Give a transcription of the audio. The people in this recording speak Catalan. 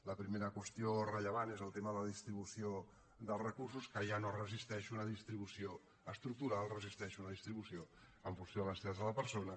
la primera qüestió rellevant és el tema de la distribució dels recursos que ja no resisteix una distribució estructural resisteix una distribució en funció de les necessitats de la persona